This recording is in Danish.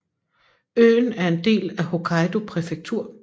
Øen er en del af Hokkaido prefektur